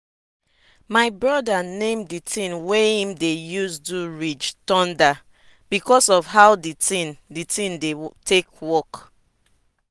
di tin wey we dey use cut somtin for farm wey we inherit get hand wey be wood and e fit my hand well well.